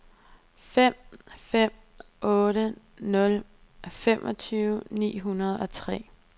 fem fem otte nul femogtyve ni hundrede og tre